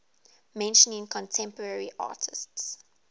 mentioning contemporary artists